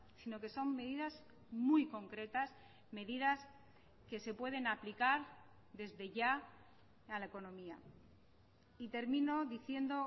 sino que son medidas muy concretas medidas que se pueden aplicar desde ya a la economía y termino diciendo